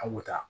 An bɛ taa